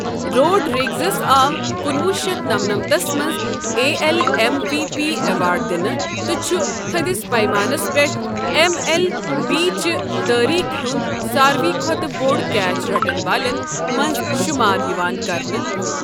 روڈریگزس آو کنوہ شیتھ نمنمتھس منٛز A L M V P award دِنہٕ تہٕ چھُ تٔھدِس پَیمانَس پٮ۪ٹھ ایم ایل بی چہ تٲریٖخ ہُنٛد ساروٕے کھۄتہٕ بوٚڑ کیچ رٹن والٮ۪ن منٛز شمار یِوان کرنہٕ۔